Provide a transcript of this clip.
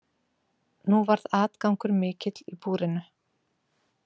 Nú varð atgangur mikill í búrinu.